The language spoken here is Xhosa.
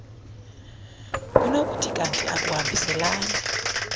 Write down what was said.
kunokuthi kanti akuhambiselani